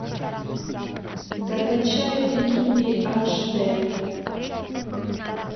закачай викинги аш д